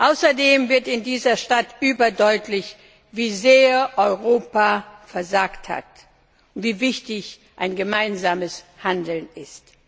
Außerdem wird in dieser Stadt überdeutlich, wie sehr Europa versagt hat und wie wichtig ein gemeinsames Handeln ist.